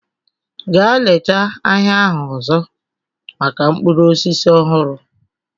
Gaa leta ahịa ahụ ọzọ maka mkpụrụ osisi ọhụrụ!